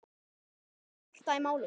Setjum hjartað í málið.